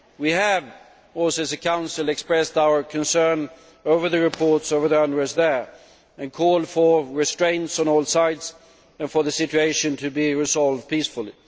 We have also, as a Council, expressed our concern over the reports on the unrest there and called for restraint on all sides and for the situation to be resolved peacefully.